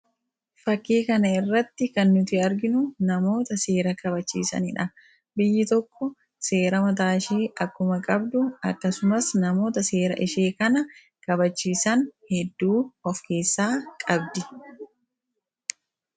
fakii kana irratti kan nuti arginu, namoota seera kabachiisaniidha. biyyi tokko seera mataa ishee akkuma qabdu akkasumas namoota seera ishee kana kabachiisan hedduu of keessaa qabdi.